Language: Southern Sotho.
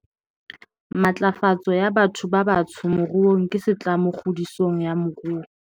Matlafatso ya batho ba batsho moruong ke setlamo kgodisong ya moruo